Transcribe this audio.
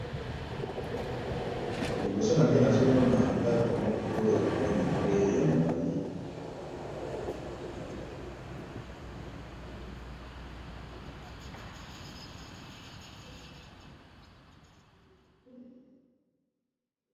Liboso na ngai nazomona ndako moko ya monene pe ya molayi.